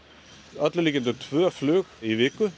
öllum líkindum tvö flug í viku